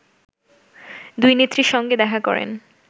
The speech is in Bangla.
দুইনেত্রীর সঙ্গে দেখা করেন